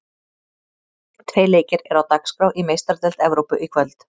Tveir leikir eru á dagskrá í Meistaradeild Evrópu í kvöld.